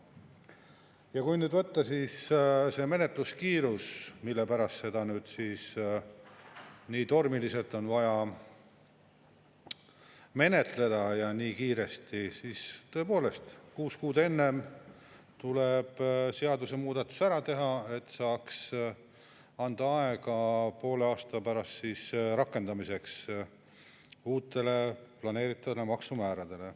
Ja kui nüüd võtta see menetluskiirus, mille pärast seda eelnõu nii tormiliselt, nii kiiresti on vaja menetleda, siis tõepoolest, kuus kuud enne tuleb seadusemuudatus ära teha, et saaks anda pool aastat aega uute planeeritavate maksumäärade rakendamiseks.